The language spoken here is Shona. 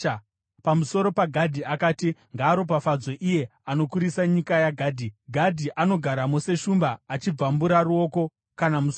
Pamusoro paGadhi akati: “Ngaaropafadzwe iye anokurisa nyika yaGadhi! Gadhi anogaramo seshumba, achibvambura ruoko kana musoro.